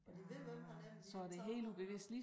Og de ved hvem han er men de har ikke taget ham endnu